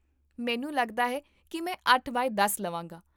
ਮੈਨੂੰ ਲੱਗਦਾ ਹੈ ਕੀ ਮੈਂ ਅੱਠ ਬਾਏ ਦਸ ਲਵਾਂਗਾ